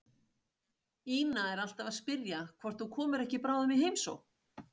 Ína er alltaf að spyrja hvort þú komir ekki bráðum í heimsókn.